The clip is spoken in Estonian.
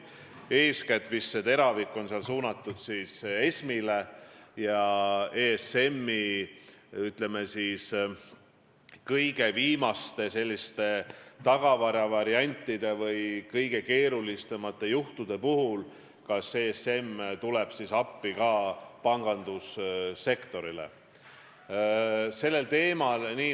Eeskätt oli teravik suunatud ESM-ile ja sellele, kas ESM, ütleme, kõige viimaste või kõige keerulisemate juhtude puhul tuleb pangandussektorile appi.